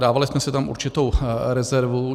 Dávali jsme si tam určitou rezervu.